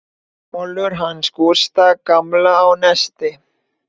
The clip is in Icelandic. Kolur hans Gústa gamla á Nesi.